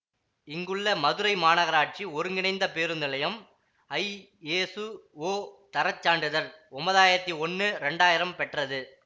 இங்குள்ள மதுரை மாநகராட்சி ஒருங்கிணைந்த பேருந்து நிலையம் ஐஎசுஓ தரச் சான்றிதழ் ஒன்பதாயிரத்தி ஒன்னு இரண்டாயிரம் பெற்றது